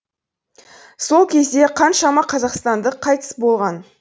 сол кезде қаншама қазақстандық қайтыс болған